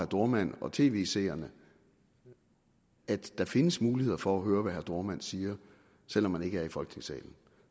dohrmann og tv seerne at der findes muligheder for at høre hvad herre dohrmann siger selv om man ikke er i folketingssalen